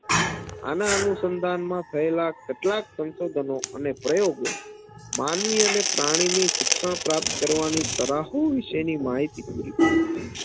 આના અનુસંધાનમાં થયેલા કેટલાક સંશોધનો અને પ્રયોગો માનવી અને પ્રાણીની શિક્ષણ પ્રાપ્ત કરવાની તરાહો વિશેની માહિતી પૂરી પાડે છે